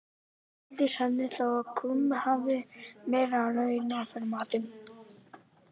Skildist henni þá að krummi hafði verið að launa fyrir matinn.